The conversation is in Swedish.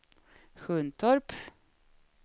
Sjuntorp